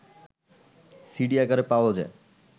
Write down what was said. CD আকারে পাওয়া যায়